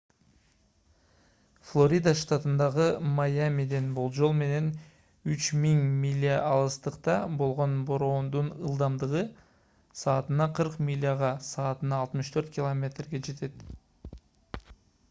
флорида штатындагы майамиден болжол менен 3000 миля алыстыкта болгон бороондун ылдамдыгы саатына 40 миляга саатына 64 км жетет